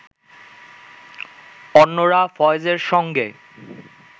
অন্যরা ফয়েজের সঙ্গে